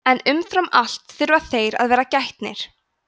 en umfram allt þurfa þeir að vera gætnir